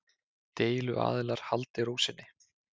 Deiluaðilar haldi ró sinni